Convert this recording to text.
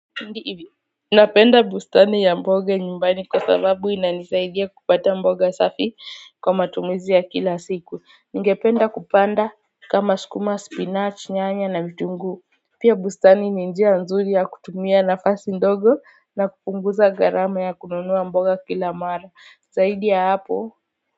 Ndivi hivi, napenda bustani ya mboga nyumbani kwa sababu inanisaidia kupata mboga safi kwa matumizi ya kila siku. Ningependa kupanda kama sukuma, spinachi, nyanya na vitunguu. Pia bustani ni njia nzuri ya kutumia nafasi ndogo na kupunguza gharama ya kununua mboga kila mara. Zaidi ya hapo.